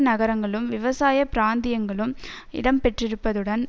நகரங்களும் விவசாய பிராந்தியங்களும் இடம் பெற்றிருப்பதுடன்